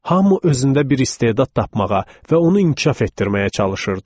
Hamu özündə bir istedad tapmağa və onu inkişaf etdirməyə çalışırdı.